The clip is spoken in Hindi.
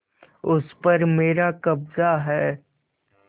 उस पर मेरा कब्जा है